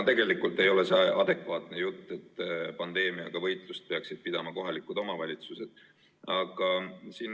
No tegelikult ei ole see adekvaatne jutt, et pandeemiaga võitlust peaksid pidama kohalikud omavalitsused.